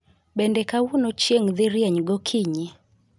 Bende kawuono chieng' dhi rieny gokinyi